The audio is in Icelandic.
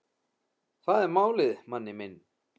Það er málið, manni minn.